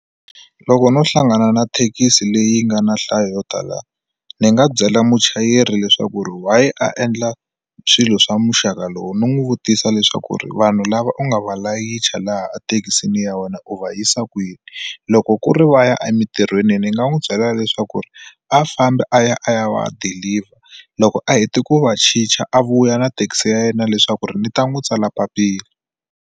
Loko no hlangana na thekisi leyi nga na nhlayo yo tala ni nga byela muchayeri leswaku ri why a endla swilo swa muxaka lowu ni n'wi vutisa leswaku ri vanhu lava u nga va layicha laha a thekisini ya wena u va yisa kwini loko ku ri va ya emitirhweni ni nga n'wi byela leswaku ri a fambi a ya a ya va ya deliver loko a hete ku va chicha a vuya na thekisi ya yena leswaku ri ni ta n'wi tsala papila.